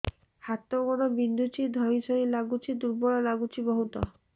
ହାତ ଗୋଡ ବିନ୍ଧୁଛି ଧଇଁସଇଁ ଲାଗୁଚି ଦୁର୍ବଳ ଲାଗୁଚି ବହୁତ